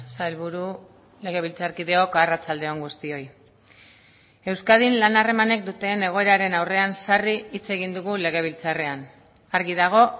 sailburu legebiltzarkideok arratsalde on guztioi euskadin lan harremanek duten egoeraren aurrean sarri hitz egin dugu legebiltzarrean argi dago